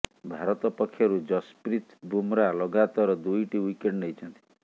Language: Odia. ଭାରତ ପକ୍ଷରୁ ଜସପ୍ରିତ୍ ବୁମ୍ରା ଲଗାତାର ଦୁଇଟି ୱିକେଟ୍ ନେଇଛନ୍ତି